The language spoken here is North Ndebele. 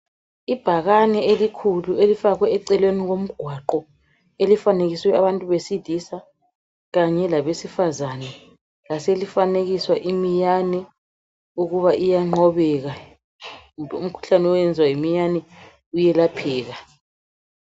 Ibhakane elikhulu elifakwe eceleni komgwaqo elifanekiswe abantu besilisa kanye labesifazana. Lase lifanekiswa imiyane ukuba iyanqobeka kumbe umkhuhlane owenzwa yimiyane uyelapheka.